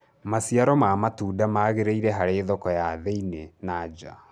maciaro ma matunda magiriire harĩ thoko ya thii-inĩ na nja